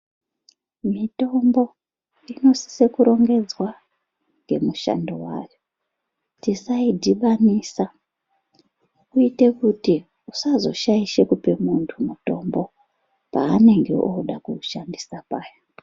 Mitombo inosisa kurongedzwa ngemishando yayo tisaidhibanisa kuita kuti tisazoshaisha kupa muntu mutombo panenge oda kuushandisa paya.